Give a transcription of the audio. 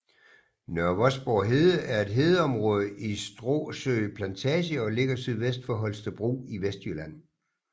Nørre Vosborg Hede er et hedeområde i Stråsø Plantage og ligger sydvest for Holstebro i Vestjylland